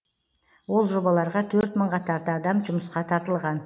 ол жобаларға төрт мыңға тарта адам жұмысқа тартылған